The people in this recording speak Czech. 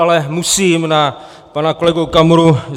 Ale musím na pana kolegu Okamuru.